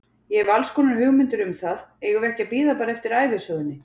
Ég hef allskonar hugmyndir um það, eigum við ekki að bíða bara eftir ævisögunni?